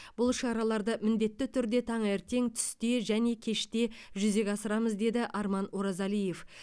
бұл шараларды міндетті түрде таңертең түсте және кеште жүзеге асырамыз деді арман оразалиев